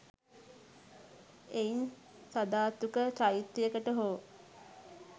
එයින් සධාතුක චෛත්‍යයකට හෝ